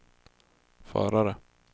förare